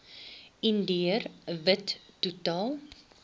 indiër wit totaal